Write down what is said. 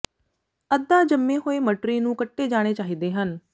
ਅੱਧਾ ਜੰਮੇ ਹੋਏ ਮਟਰੀ ਨੂੰ ਕੱਟੇ ਜਾਣੇ ਚਾਹੀਦੇ ਹਨ